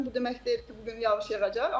Bu demək deyil ki, bu gün yağış yağacaq.